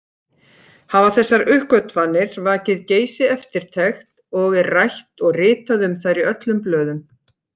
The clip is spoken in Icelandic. Hafa þessar uppgötvanir vakið geisi-eftirtekt og er rætt og ritað um þær í öllum blöðum.